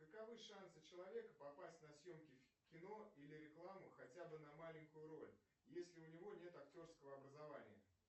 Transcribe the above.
каковы шансы человека попасть на съемки в кино или рекламу хотя бы на маленькую роль если у него нет актерского образования